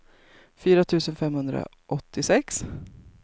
fyra tusen femhundraåttiosex